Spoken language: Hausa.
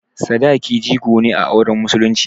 Sadaki jigo ne a auren musulunci.